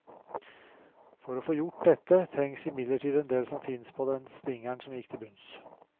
For å få gjort dette, trengs imidlertid en del som finnes på den stingeren som gikk til bunns.